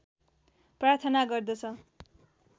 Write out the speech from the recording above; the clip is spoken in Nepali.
प्रार्थना गर्दछ